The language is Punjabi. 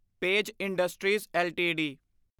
page Industries LTD